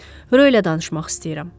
Röylə danışmaq istəyirəm.